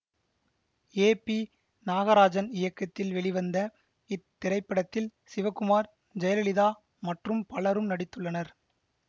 ஏ P Nagarajan இயக்கத்தில் வெளிவந்த இத்திரைப்படத்தில் சிவகுமார் ஜெயலலிதா மற்றும் பலரும் நடித்துள்ளனர்